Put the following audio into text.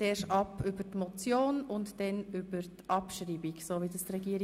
zuerst über die Motion und dann über deren Abschreibung.